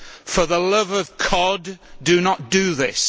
For the love of cod, do not do this.